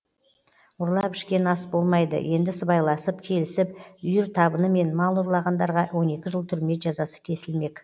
ұрлап ішкен ас болмайды енді сыбайласып келісіп үйір табынымен мал ұрлағандарға он екі жыл түрме жазасы кесілмек